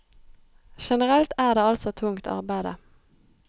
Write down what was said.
Generelt er det altså tungt arbeide.